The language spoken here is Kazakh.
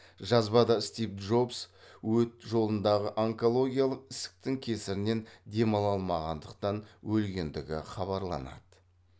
жазбада стив джобс өт жолындағы онкологиялық ісіктің кесірінен демала алмағандықтан өлгендігі хабарланады